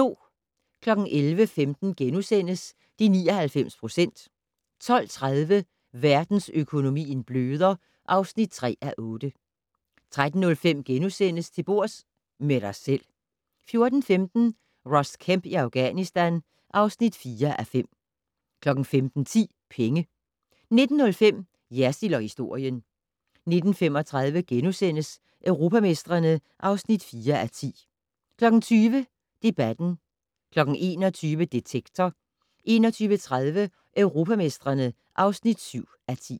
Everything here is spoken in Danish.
11:15: De 99 procent * 12:30: Verdensøkonomien bløder (3:8) 13:05: Til bords - med dig selv * 14:15: Ross Kemp i Afghanistan (4:5) 15:10: Penge 19:05: Jersild & historien 19:35: Europamestrene (4:10)* 20:00: Debatten 21:00: Detektor 21:30: Europamestrene (7:10)